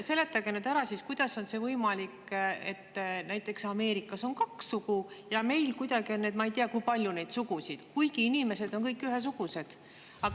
Seletage nüüd ära, kuidas on see võimalik, et näiteks Ameerikas on kaks sugu ja meil on, ma ei tea, kui palju neid sugusid, kuigi inimesed on kõik ühesugused.